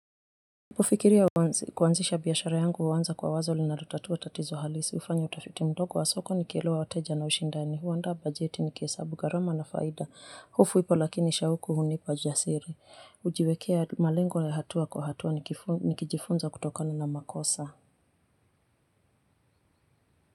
Fikiria kuanzisha biashara yangu uwanza kwa wazo linalotatua tatizo halisi hufanya utafiti mdogo wa soko nikielewa wateja na ushindani huandaa bajeti nikihesabu gharama na faida. Hofu ipo lakini shauku hunipa jasiri hujiwekea malengo ya hatua kwa hatua nikijifunza kutokana na makosa.